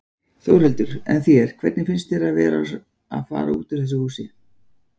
Þórhildur: En þér, hvernig finnst þér að vera að fara úr þessu húsi?